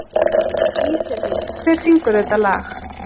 Íselín, hver syngur þetta lag?